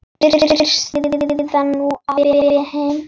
Fyrst Heiða, nú Abba hin.